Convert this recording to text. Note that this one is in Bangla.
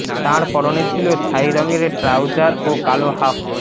তাঁর পরনে ছিল ছাই রঙের ট্রাউজার ও কালো হাফ